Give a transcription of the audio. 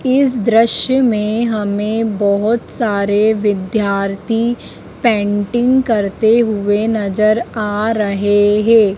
इस दृश्य में हमें बहुत सारे विद्यार्थी पेंटिंग करते हुए नजर आ रहे है।